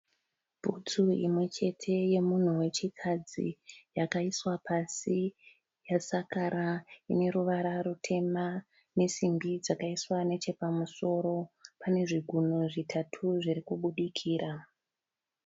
Butsu imwechete yemunhu wechikadzi yakaiswa pasi, yasakara, ine ruvara rutema ne simbi dzakaiswa nechepamusoro. Pane zvigumwe zvitatu zviri kubudikira.